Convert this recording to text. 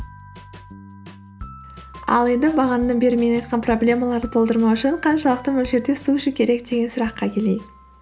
ал енді бағанадан бері мен айтқан проблемаларды болдырмау үшін қаншалықты мөлшерде су ішу керек деген сұраққа келейік